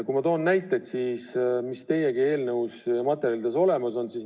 Ma toon teile näiteid, mis ka eelnõu materjalides olemas on.